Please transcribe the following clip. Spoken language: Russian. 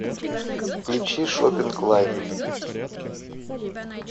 включи шопинг лайв